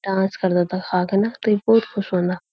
डांस करदा ता हाँ का नत ये बहौत खुश हौंदा।